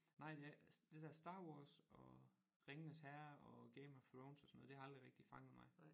Nej det det der Star Wars og Ringenes Herre og Game of Thrones og sådan noget det har aldrig rigtig fanget mig